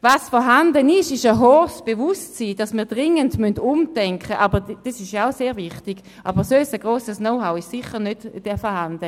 Was vorhanden ist, ist ein hohes Bewusstsein, dringend umdenken zu müssen, was auch sehr wichtig ist, aber sonst ist dort sicher kein grosses Knowhow vorhanden.